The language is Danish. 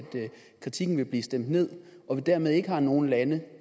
kritikken vil blive stemt ned og at vi dermed ikke har nogen lande